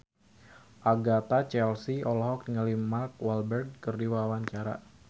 Agatha Chelsea olohok ningali Mark Walberg keur diwawancara